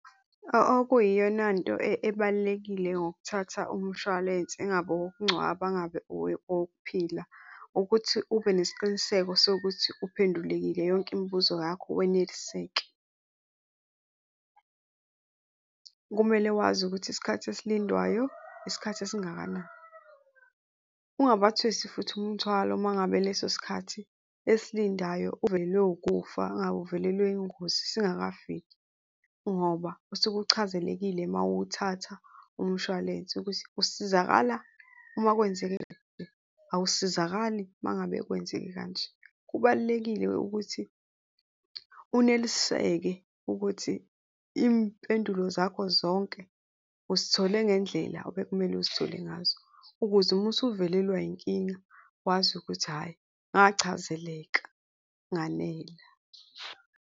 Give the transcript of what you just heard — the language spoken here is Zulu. Okuyiyonanto ebalulekile ngokuthatha umshwalense ingabe owokungcwaba, ingabe owokuphila ukuthi ube nesiqiniseko sokuthi uphendulekile yonke imibuzo yakho, weneliseke. Kumele wazi ukuthi isikhathi esilindwayo isikhathi esingakanani. Ungabathwesi futhi umthwalo uma ngabe leso sikhathi esilindayo uvelelwe ukufa, ungabe uvelelwe yingozi singakafiki ngoba usuke uchazelekile uma uwuthatha umshwalense ukuthi usizakala uma kwenzeke awusasizakali uma ngabe kwenzeke kanje. Kubalulekile ukuthi uneliseke ukuthi impendulo zakho zonke uzithole ngendlela obekumele uzithole ngazo ukuze uma usuvelelwe inkinga wazi ukuthi hhayi, ngiahazeleka nganela.